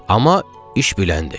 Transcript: Amma iş biləndir.